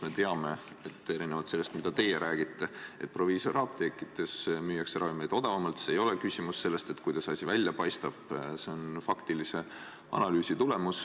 Me teame, et erinevalt sellest, mida teie räägite, proviisoriapteekides müüakse ravimeid odavamalt, ja siin ei ole küsimus selles, kuidas asi välja paistab, see on faktilise analüüsi tulemus.